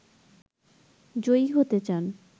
জয়ী হতে চান